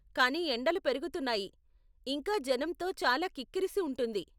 కానీ ఎండలు పెరుగుతున్నాయి, ఇంకా జనంతో చాలా కిక్కిరిసి ఉంటుంది.